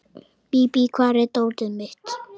Bíbí, hvar er dótið mitt?